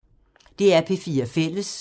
DR P4 Fælles